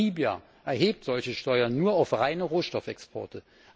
Namibia erhebt solche Steuern nur auf reine Rohstoffexporte.